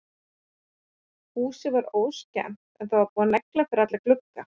Húsið var óskemmt en það var búið að negla fyrir alla glugga.